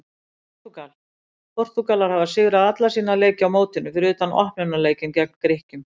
Portúgal: Portúgalar hafa sigrað alla sína leiki á mótinu fyrir utan opnunarleikinn gegn Grikkjum.